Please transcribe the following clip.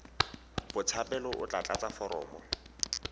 botshabelo o tla tlatsa foromo